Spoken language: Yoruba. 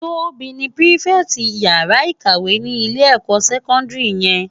Tobi ni pirifèti iyàrá ikáwè ni ilé èkò sèkòndiri yèn